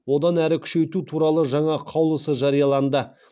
одан әрі күшейту туралы жаңа қаулысы жарияланды